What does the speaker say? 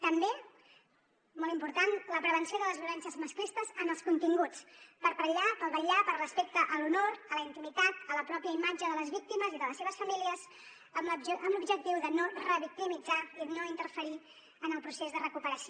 també molt important la prevenció de les violències masclistes en els continguts per vetllar pel respecte a l’honor a la intimitat a la pròpia imatge de les víctimes i de les seves famílies amb l’objectiu de no revictimitzar i no interferir en el procés de recuperació